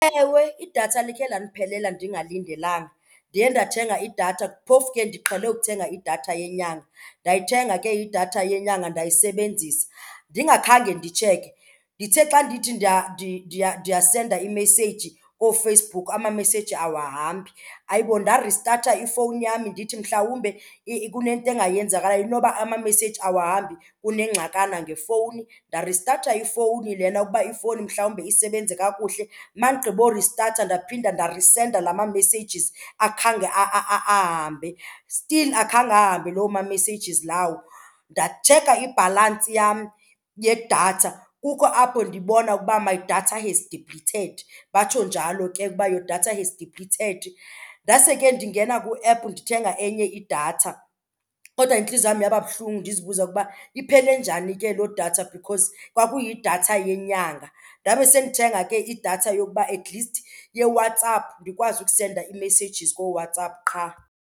Ewe, idatha likhe landiphelela ndingalindelanga. Ndiye ndathenga idatha, phofu ke ndiqhele ukuthenga idatha yenyanga. Ndayithenga ke idatha yenyanga ndayisebenzisa ndingakhange nditsheke. Ndithe xa ndithi ndiyasenda iimeseyiji kooFacebook amameseyiji awahambi. Hayi bo, ndaristatha ifowuni yam ndithi mhlawumbe kunento engayenzekayo inoba amameseyiji awahambi, kunengxakana ngefowuni. Ndaristatha ifowuni lena ukuba ifowuni mhlawumbe isebenze kakuhle. Uma ndigqiboristatha ndaphinda ndarisenda la ma-messages, akhange ahambe. Still akhange ahambe loo ma-messages lawo. Ndatsheka ibhalansi yam yedatha kukho apho ndibona ukuba my data is depleted, batsho njalo ke ukuba your data has depleted. Ndase ke ndingena kwi-app ndithenga enye idatha kodwa intliziyo yam yaba buhlungu ndizibuza ukuba iphele njani ke loo data because kwakuyidatha yenyanga. Ndabe sendithenga ke idatha yokuba atleast yeWhatsApp ndikwazi ukusenda iimessages kooWhatsApp qha.